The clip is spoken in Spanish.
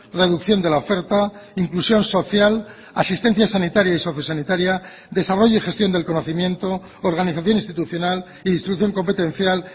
reducción de la oferta inclusión social asistencia sanitaria y socio sanitaria desarrollo y gestión del conocimiento organización institucional y distribución competencial